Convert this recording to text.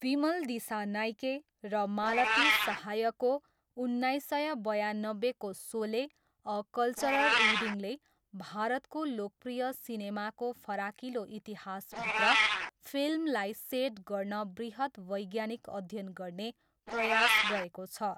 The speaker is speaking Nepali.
विमल दिसानायके र मालती सहायको उन्नाइस सय बयान्नब्बेको सोले, अ कल्चरल रिडिङले भारतको लोकप्रिय सिनेमाको फराकिलो इतिहासभित्र फिल्मलाई सेट गर्न बृहत् वैज्ञानिक अध्ययन गर्ने प्रयास गरेको छ।